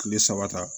Kile saba ta